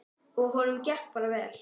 Og honum gekk bara vel.